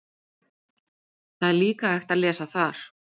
Líka er hægt að lesa þar